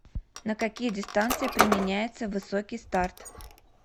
на какие дистанции применяется высокий старт